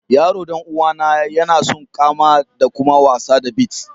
Yaron dan uwa na, ya na son kama da kuma wasa da beets.